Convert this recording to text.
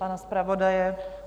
Pana zpravodaje?